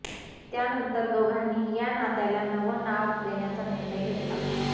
त्यानंतर दोघांनी या नात्याला नवं नाव देण्याचा निर्णय घेतला